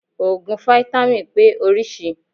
Òògùn fítámìn pé orísìí.